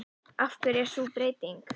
Af hverju er sú breyting?